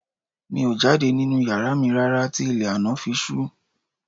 Mi ò jáde nínú yàrá mi rárá tí ilẹ̀ àná fi ṣú